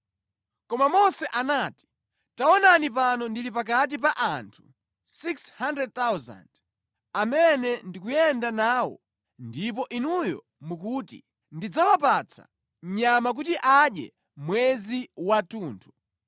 Koma Mose anati, “Taonani pano ndili pakati pa anthu 600,000 amene ndi kuyenda nawo ndipo Inuyo mukuti, ‘Ndidzawapatsa nyama kuti adye mwezi wathunthu!’